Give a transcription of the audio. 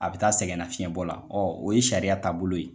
A bi taa sɛgɛnna fiɲɛbɔ la, o ye sariya taabolo ye.